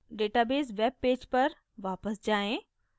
database web page पर वापस जाएँ